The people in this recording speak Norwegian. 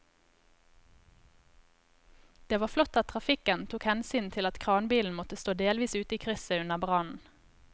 Det var flott at trafikken tok hensyn til at kranbilen måtte stå delvis ute i krysset under brannen.